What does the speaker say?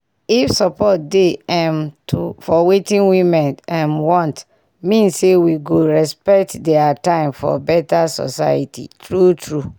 if support dey um to for wetin women um want mean say we go respect dia time for beta soceity true true